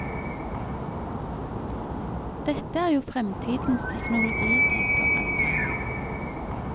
Dette er jo fremtidens teknologi, tenker andre.